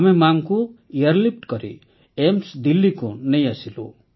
ଆମେ ମାକୁ ଏୟାରଲିଫ୍ଟ କରି ଏମ୍ସ Delhiକୁ ନେଇଆସିଲୁ